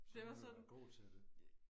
så må du vel være god til det